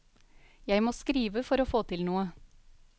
Jeg må skrive for å få til noe.